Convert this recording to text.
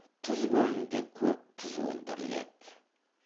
тұз көлінде көп тұз өндіріледі